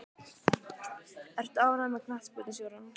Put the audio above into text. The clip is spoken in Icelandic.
Ertu ánægður með knattspyrnustjórann?